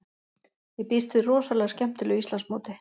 Ég býst við rosalega skemmtilegu Íslandsmóti.